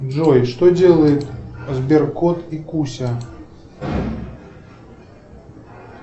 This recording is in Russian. джой что делает сберкот и куся